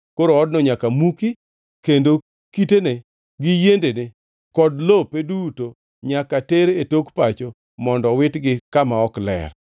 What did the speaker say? Koro odno nyaka muki, kendo kitene gi yiendene, kod lope duto nyaka ter e tok pacho mondo owitgi kama ok ler.